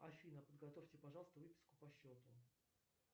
афина подготовьте пожалуйста выписку по счету